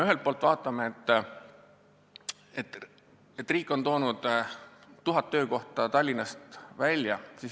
Ühelt poolt väga hea, et riik on toonud tuhat töökohta Tallinnast välja.